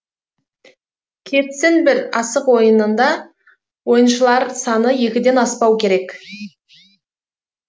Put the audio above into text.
кетсін бір асық ойынында ойыншылар саны екіден аспау керек